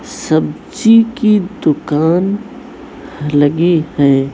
सब्जी की दुकान लगी है।